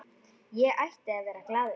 Ég ætti að vera glaður.